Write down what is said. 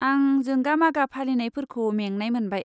आं जोंगा मागा फालिनायफोरखौ मेंनाय मोनबाय।